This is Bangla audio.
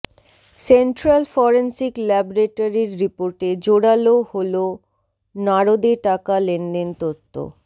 সেন্ট্রাল ফরেন্সিক ল্যাবরেটরির রিপোর্টে জোরালো হল নারদে টাকা লেনদেন তত্ত্ব